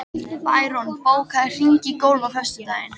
Bæron, bókaðu hring í golf á föstudaginn.